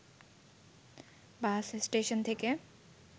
বাস station থেকে